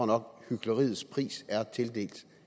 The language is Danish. nok hykleriets pris er tildelt